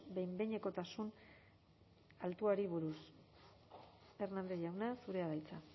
behin behinekotasun altuari buruz hernández jauna zurea da hitza